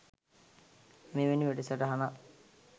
මෙවැනි වැඩසටහනක්